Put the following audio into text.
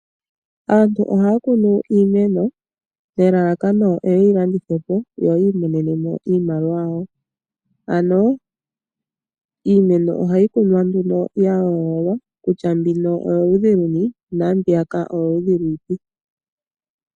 Aantu ohaya kunu iimeno nelalakano opo ye yi landithe po yo yi imonene mo iimaliwa yawo. Ano iimeno ohayi kunwa nduno ya yoololwa kutya mbino oyoludhi luni naambiyaka oyoludhi lwiipi.